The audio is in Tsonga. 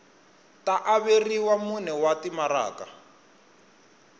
ta averiwa mune wa timaraka